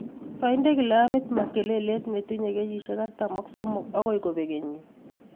kainde gilamit Makelele netinye kenyisiek artam ak somok agoi kobeg kenyiit